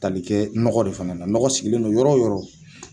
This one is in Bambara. tali kɛ nɔgɔ de fana na nɔgɔ sigilen do yɔrɔ yɔrɔ.